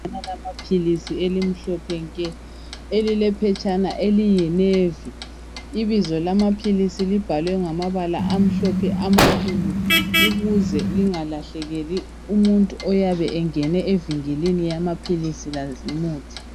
Abalama philisi elimhlophe nke elilephetshana eliyinevi ibizo lamaphilisi libhalwe ngamabala amhlophe amakhulu ukuze lingalahlekeli umuntu oyabe engene evinkilini amaphilisi lazimuthi.